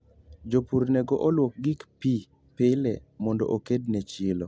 jopur nego oluok gig pii pile mondo okedne chilo